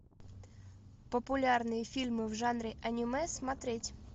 популярные фильмы в жанре аниме смотреть